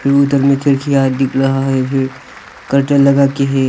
दोनों तरफ में खिड़कियां दिख रहा है फिर कर्टन लगा के हैं।